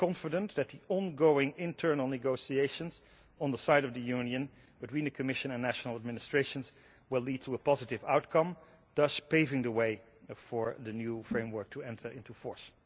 We are confident that the ongoing internal negotiations on the side of the Union between the Commission and national administrations will lead to a positive outcome, thus paving the way for the new framework to enter into force.